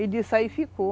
E disso aí ficou.